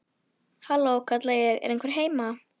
Halló, kalla ég, er einhver heima?